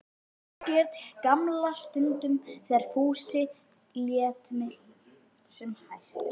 Margrét gamla stundum þegar Fúsi lét sem hæst.